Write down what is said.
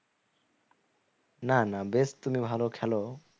না না বেশ তুমি ভালো খেলো